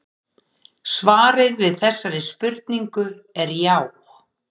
svarið við þessari spurningu er já